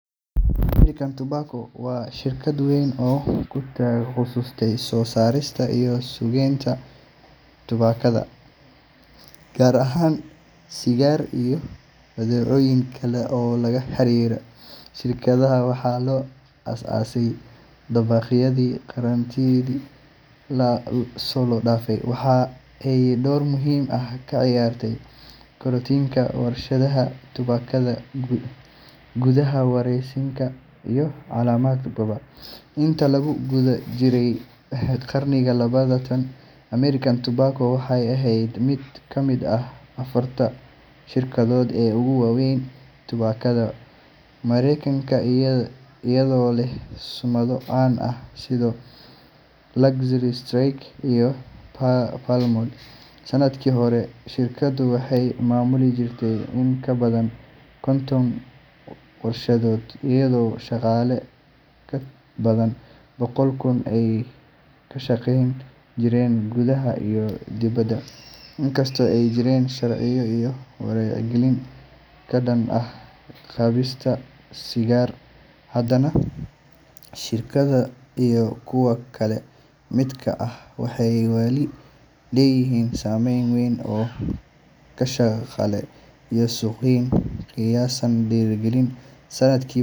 American tobacco waa shirkad weyn oo kutaalo kutaqasuste soo saarista iyo suuq geenta tubakada, gaar ahaan sigaar iyo badeecoyin kale oo laga xariira shirkadaha, waxaa loo as aase dabaqyadi karantiidi lasoo daafe, waxaa aay door muhiim ah kaciyaarte koritiinka warshadaha tubakada, gudaha wareeysiinka iyo calamad badan, inta lagu gudab jire qarniga labatan American tobacco waxeey eheed mid kamid ah afarta shirkadood ee ugu fican waweyn tubakada, mareekanka ayado leh sumada caan ah sida luxury spa iyo palmon, sanadki hore shirkada waxeey mamuli jirte in kabadan konton warshadood iyado shaqaale kabadan boqol kun aay ka shaqeyn jireen gudaha iyo dibada, in kasto aay jireen sharciyo iyo wacyi galin kadan ah qaadista sigaar hadana shirkada iyo kuwa kale lamidka ah waxeey wali leeyihiin sameeyn weyn iyo suuq galin.